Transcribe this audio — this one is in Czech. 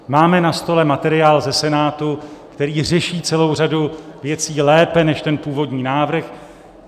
Máme na stole materiál ze Senátu, který řeší celou řadu věcí lépe než ten původní návrh.